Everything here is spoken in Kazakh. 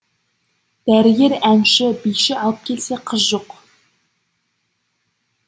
дәрігер әнші биші алып келсе қыз жоқ